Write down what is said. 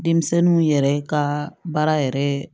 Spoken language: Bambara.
Denmisɛnninw yɛrɛ ka baara yɛrɛ